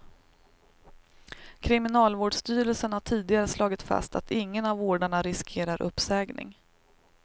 Kriminalvårdsstyrelsen har tidigare slagit fast att ingen av vårdarna riskerar uppsägning.